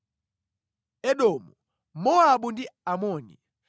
Edomu, Mowabu ndi Amoni.